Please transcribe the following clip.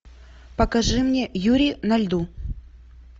покажи мне юри на льду